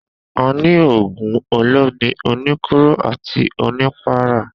A ni ògùn olómi, oníkóró àti onípara